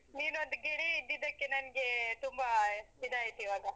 ನೀನೊಂದು ಗೆಳೆಯ ಇದ್ದಿದ್ದಕ್ಕೆ ನಂಗೆ ತುಂಬಾ ಇದಾಯ್ತು ಇವಾಗ.